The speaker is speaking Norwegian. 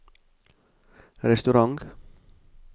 restaurant